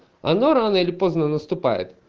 оно ну рано или поздно наступает